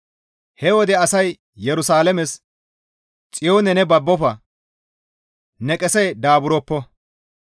He wode asay Yerusalaames, ‹Xiyoone ne babbofa; ne qesey daaburoppo.